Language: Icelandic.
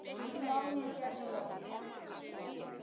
Já, ég gerði það.